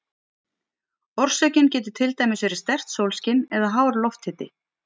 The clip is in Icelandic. Orsökin getur til dæmis verið sterkt sólskin eða hár lofthiti.